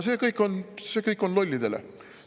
See kõik on lollidele.